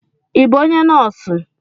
I bụ ónyé nọọsụ,m